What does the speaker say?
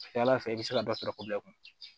A ka ca ala fɛ i bɛ se ka dɔ sɔrɔ kun